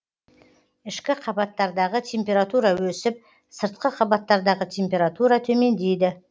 ішкі қабаттардағы температура өсіп сыртқы қабаттардағы температура төмендейді